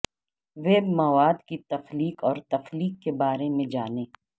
web مواد کی تخلیق اور تخلیق کے بارے میں جانیں